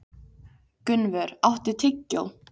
Gunnvör, áttu tyggjó?